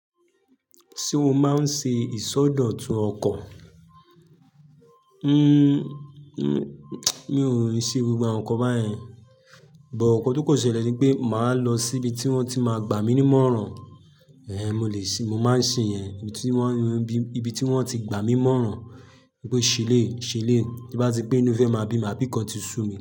Ṣé o máa ń ṣe ìsọdọ̀tun ọkọ̀? N-n-mi ò ń ṣe gbogbo àwọn nǹkan báyẹn but ǹ kan tó kan ṣẹlẹ̀ ní pé màá lọ síbi tí wọ́n ti máa gbà mí ní mòràn. Eh, mo lè ṣe, mo máa ń ṣe yẹn níbi tí wọ́n, níbi tí wọ́n ti gbà mí ń mòràn. Wípé ṣeléyi ṣeléyi, tí nbá ti pé ínú fẹ́ máa bí mi, àbí ňkan ti sú mi.